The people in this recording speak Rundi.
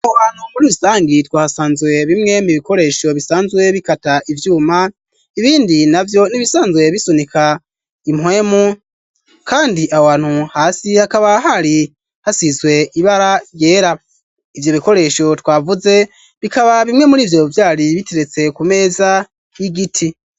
Aho hantu muri rusangi twahasanze bimwe mu bikoresho bisanzwe bikata ivyuma ibindi navyo n'ibisanzwe bisunika impwemu kandi aho hantu hasi hakaba hari hasizwe ibara ryera ivyo bikoresho twavuze bikaba bimwe murivyo vyari biteretse ku meza y'igiti.